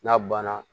N'a banna